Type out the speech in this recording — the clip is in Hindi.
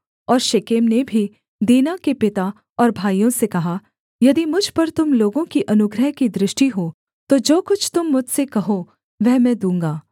और शेकेम ने भी दीना के पिता और भाइयों से कहा यदि मुझ पर तुम लोगों की अनुग्रह की दृष्टि हो तो जो कुछ तुम मुझसे कहो वह मैं दूँगा